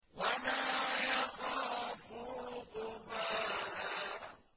وَلَا يَخَافُ عُقْبَاهَا